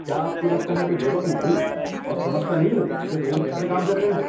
کیا آپ کو لگتا ہے میں بے وقوف ہوں اور سمجھتا نہیں ہوں کہ فون کیسے کام کرتے ہیں؟